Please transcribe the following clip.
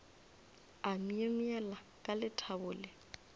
a myemyela ka lethabo le